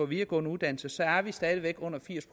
videregående uddannelser er vi stadig væk under firs